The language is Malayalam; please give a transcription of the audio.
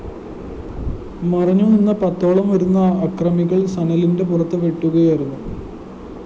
മറഞ്ഞു നിന്ന പത്തോളം വരുന്ന അക്രമികള്‍ സനലിന്റെ പുറത്ത് വെട്ടുകയായിരുന്നു